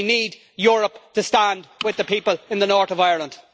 We need Europe to stand with the people in the North of Ireland.